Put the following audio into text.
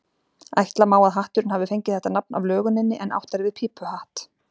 Ætla má að hatturinn hafi fengið þetta nafn af löguninni en átt er við pípuhatt.